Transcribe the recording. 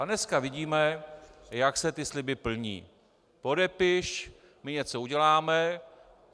A dneska vidíme, jak se ty sliby plní: Podepiš, my něco uděláme.